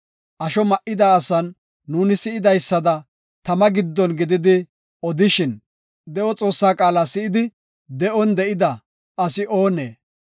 Asho ma7ida asan nuuni si7idaysada tama giddon gididi odishin, de7o Xoossaa qaala si7idi de7on de7ida asi oonee?